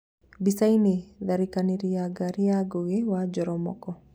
Mbicainĩ; tharikanĩrĩ ya ngari ya Ngũgi wa Jororomoko